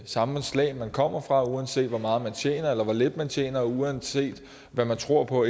samfundslag man kommer fra uanset hvor meget man tjener eller hvor lidt man tjener uanset hvad man tror på